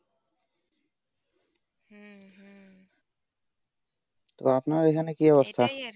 তো আপনার এখানে কি অবস্থা?